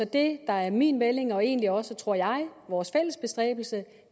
det der er min melding og egentlig også tror jeg vores fælles bestræbelse